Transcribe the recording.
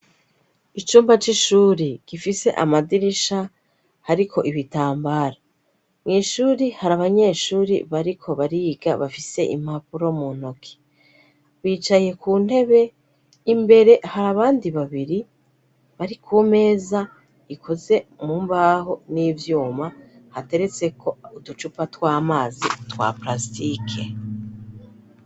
Icumba c'ishuri gifise amadirisha ariko ibitambara. Mw'ishuri hari abanyeshuri bariko bariga bafise impapuro mu ntoke, bicaye ku ntebe imbere hari abandi babiri bari ku meza ikoze mu mbaho n'ivyuma hateretse ko uducupa tw'amazi twa prasitike.